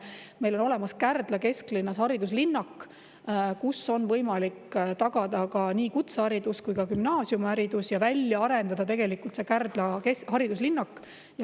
Meil on olemas Kärdla kesklinnas hariduslinnak, kus on võimalik tagada nii kutseharidus kui ka gümnaasiumiharidus.